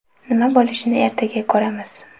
Nima bo‘lishini ertaga ko‘ramiz.